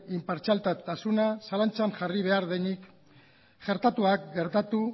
inpartzialtasuna zalantzan jarri behar denik gertatuak gertatu